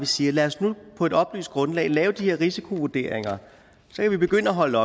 siger lad os nu på et oplyst grundlag lave de her risikovurderinger så kan vi begynde at holde